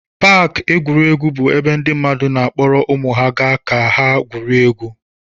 Paakị egwuregwu bụ ebe ndị mmadụ na-akpọrọ ụmụ ha ga ka ha gwurie egwu.